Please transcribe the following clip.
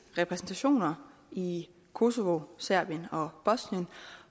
repræsentationer i kosova serbien og bosnien